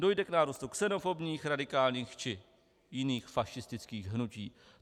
Dojde k nárůstu xenofobních, radikálních či jiných fašistických hnutí.